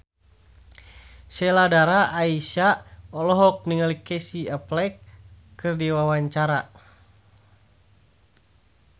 Sheila Dara Aisha olohok ningali Casey Affleck keur diwawancara